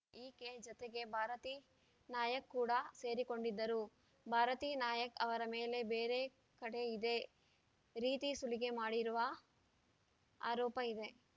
ಈಕೆ ಜತೆಗೆ ಭಾರತೀ ನಾಯಕ್‌ ಕೂಡ ಸೇರಿಕೊಂಡಿದ್ದರು ಭಾರತೀ ನಾಯಕ್‌ ಅವರ ಮೇಲೆ ಬೇರೆ ಕಡೆ ಇದೇ ರೀತಿ ಸುಲಿಗೆ ಮಾಡಿರುವ ಆರೋಪ ಇದೆ